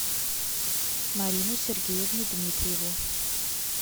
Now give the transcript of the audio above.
марину сергеевну дмитриеву